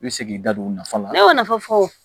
I bɛ segin i da don u nafa la i y'o nafa fɔ